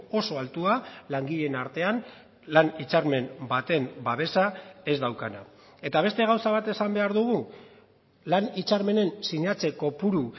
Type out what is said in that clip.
oso altua langileen artean lan hitzarmen baten babesa ez daukana eta beste gauza bat esan behar dugu lan hitzarmenen sinatze kopuru